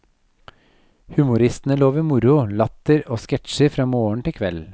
Humoristene lover moro, latter og sketsjer fra morgen til kveld.